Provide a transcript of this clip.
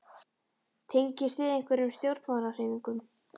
Tengist þið einhverjum stjórnmálahreyfingum?